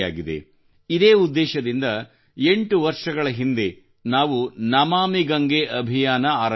ಇದೇ ಉದ್ದೇಶದಿಂದ ಎಂಟು ವರ್ಷಗಳ ಹಿಂದೆ ನಾವು ನಮಾಮಿ ಗಂಗೆ ಅಭಿಯಾನ ಆರಂಭಿಸಿದೆವು